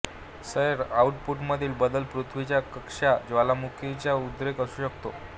सौर आउटपुटमधील बदल पृथ्वीची कक्षा ज्वालामुखीचा उद्रेक असू शकतात